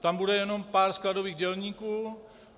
Tam bude jenom pár skladových dělníků.